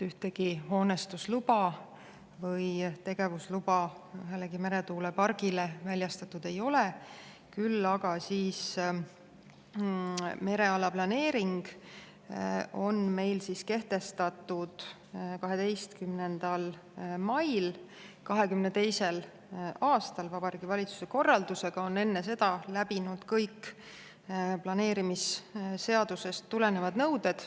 Ühtegi hoonestusluba või tegevusluba ühelegi meretuulepargile väljastatud ei ole, küll aga mereala planeering kehtestati meil 12. mail 2022. aastal Vabariigi Valitsuse korraldusega ja on enne seda läbinud kõik planeerimisseadusest tulenevad nõuded.